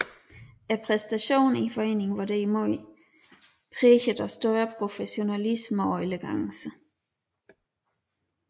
Præstationerne i foreningen var derimod præget af større professionalisme og elegance